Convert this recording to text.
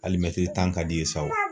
Ali mɛtiri tan ka d'i ye sa wo